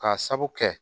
K'a sabu kɛ